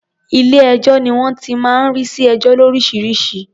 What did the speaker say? Ilé-ẹjọ́ ni wọ́n ti máa ń rí sí ẹjọ́ lóríṣiríṣi.